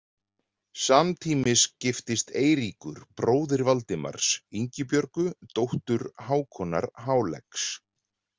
Samtímis giftist Eiríkur bróðir Valdimars Ingibjörgu dóttur Hákonar háleggs.